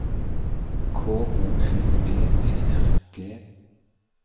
K O L B E R G